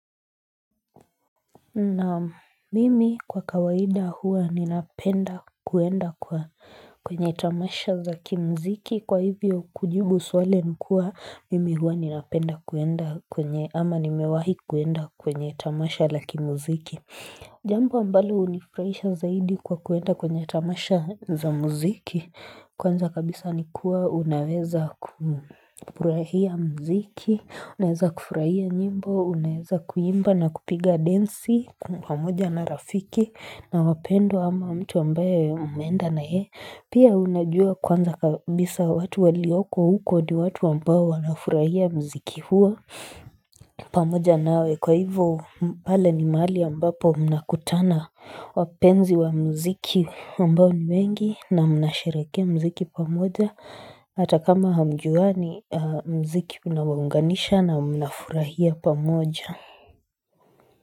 Naam, mimi kwa kawaida huwa ninapenda kuenda kwa kwenye tamasha za kimziki kwa hivyo kujibu swali imekuwa mimi huwa ninapenda kuenda kwenye ama nimewahi kuenda kwenye tamasha la kimziki. Jambo ambalo hunifurahisha zaidi kwa kuenda kwenye tamasha za muziki Kwanza kabisa nikuwa unaweza kufurahia muziki. Unaweza kufurahia nyimbo, unaweza kuimba na kupiga densi kwa pamoja na rafiki na wapendwa ama mtu ambaye umeenda na yeye Pia unajua kwanza kabisa watu walioko huko ni watu ambao wanafurahia muziki, huwa pamoja nawe kwa hivyo pale ni mahali ambapo mnakutana wapenzi wa muziki ambao ni wengi na mnasherehekea muziki pamoja hata kama hamjuani muziki unawaunganisha na mnafurahia pamoja.